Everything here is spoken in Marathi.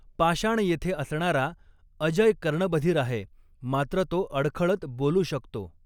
पाषाण येथे असणारा अजय कर्णबधिर आहे, मात्र तो अडखळत बोलू शकतो.